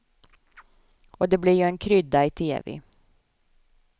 Och det blir ju en krydda i tv.